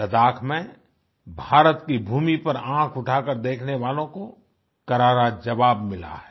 लद्दाख में भारत की भूमि पर आँख उठाकर देखने वालों को करारा जवाब मिला है